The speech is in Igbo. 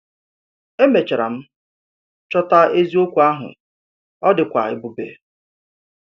Èmechàrà m chọ̀tà eziokwu ahụ, ọ dịkwa èbùbè!